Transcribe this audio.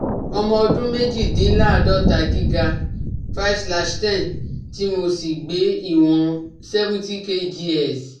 Ọmọ ọdún méjìdínláàádọ́ta gíga five slash ten tí mo sì gbé ìwọń seventy kgs